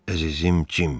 Əzizim Cim.